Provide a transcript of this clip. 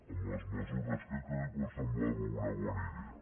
amb les mesures que calguin però em semblava una bona idea